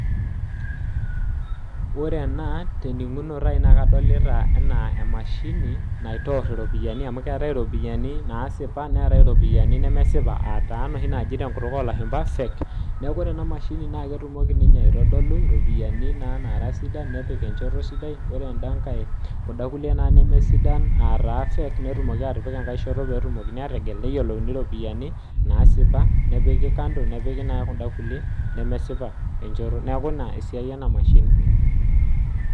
Ore ena tening'unoto ai na kadolita enaa emashini naitor iropiyiani amu keetae iropiyiani nasipa neetae iropiyiani nemesipa ataa noshi naji tenkutuk olashumpa fake. Neeku ore enamashini na ketumoki ninye aitodolu iropiyiani naa naara sidan nepik enchoto sidai, ore enda nkae kunda kulie naa nemesidan, ataa fake netumoki atipika enkae shoto petumokini ategel neyiolouni ropiyiani, nasipa nepiki kando, nepiki naa kunda kulie nemesipa enchoto. Neeku ina esiai enamashini.